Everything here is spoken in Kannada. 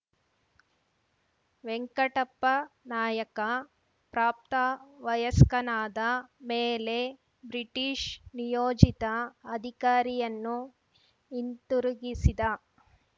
ವೆಂಕಟಪ್ಪನಾಯಕ ಪ್ರಾಪ್ತವಯಸ್ಕನಾದ ಮೇಲೆ ಬ್ರಿಟಿಷ್‌ ನಿಯೋಜಿತ ಅಧಿಕಾರಿಯನ್ನು ಹಿಂತಿರುಗಿಸಿದ